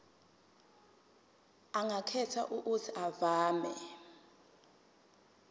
angakhetha uuthi avume